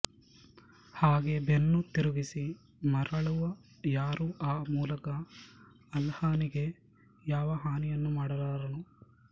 ಹಾಗೆ ಬೆನ್ನು ತಿರುಗಿಸಿ ಮರಳುವ ಯಾರೂ ಆ ಮೂಲಕ ಅಲ್ಲಾಹನಿಗೆ ಯಾವ ಹಾನಿಯನ್ನೂ ಮಾಡಲಾರನು